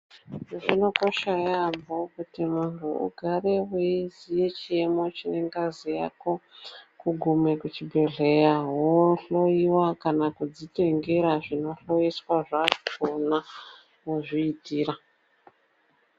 Zvinokosha yaamho kuti muntu ugare weiziye chiyemo chengazi yako. Kugume kuchibhedhlera wohloyiwa kana kudzitengera zvinohloyiswa zvakhona wozviitira.